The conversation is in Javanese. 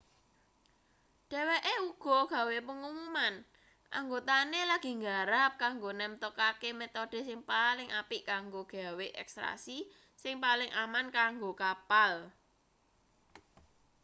dheweke uga gawe pengumuman anggotane lagi nggarap kanggo nemtokake metode sing paling apik kanggo gawe ekstraksi sing paling aman kanggo kapal